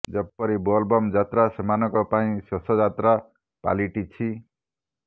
ଯେପରି ବୋଲବମ୍ ଯାତ୍ରା ସେମାନଙ୍କ ପାଇଁ ଶେଷ ଯାତ୍ରା ପାଲିଟିଛି